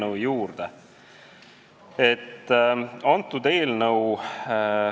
Aga nüüd siis eelnõu juurde.